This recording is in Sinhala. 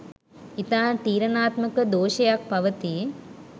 ඉතා තීරණාත්මක දෝෂයක් පවතී.